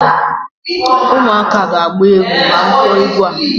ụmụaka ga-agba egwu ma m kpọọ egwu a